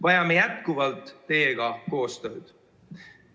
Vajame jätkuvalt teiega koostööd.